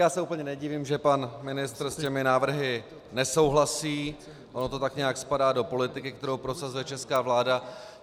Já se úplně nedivím, že pan ministr s těmi návrhy nesouhlasí, ono to tak nějak spadá do politiky, kterou prosazuje česká vláda.